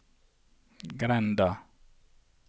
grenda